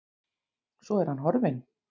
Svo er hann horfinn.